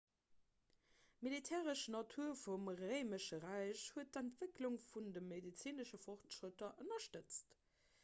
d'militaristesch natur vum réimesche räich huet d'entwécklung vun de medezinesche fortschrëtter ënnerstëtzt